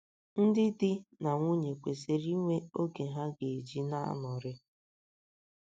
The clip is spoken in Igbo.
Ndị dị na nwunye kwesịrị inwe oge ha ga - eji na - anọrị.